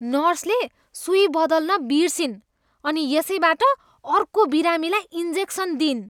नर्सले सुई बदल्न बिर्सिइन् अनि यसैबाट अर्को बिरामीलाई इन्जेक्सन दिइन्।